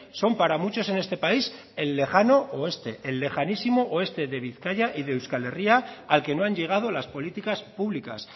son para muchos en este país el lejano oeste el lejanísimo oeste de bizkaia y de euskal herria al que no han llegado las políticas públicas